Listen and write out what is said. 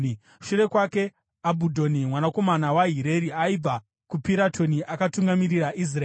Shure kwake, Abhudhoni mwanakomana waHireri aibva kuPiratoni, akatungamirira Israeri.